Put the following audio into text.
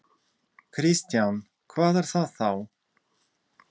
Kristján: Hvað er það þá?